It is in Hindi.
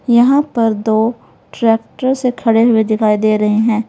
यहां पर दो ट्रैक्टर से खड़े हुए दिखाई दे रहे हैं।